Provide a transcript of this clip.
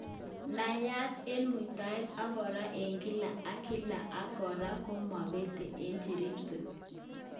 Nayat en mutayet ak kora en kila ak kila ak kora komapetate ak jeripsen